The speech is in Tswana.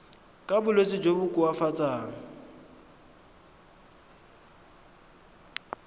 ka bolwetsi jo bo koafatsang